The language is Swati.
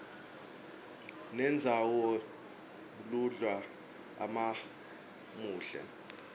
nendzawoiya lunydwa umaumuhle